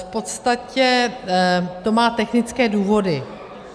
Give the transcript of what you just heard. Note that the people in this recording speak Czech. V podstatě to má technické důvody.